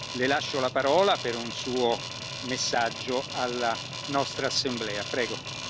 Le lascio la parola per un Suo messaggio alla nostra Assemblea, prego.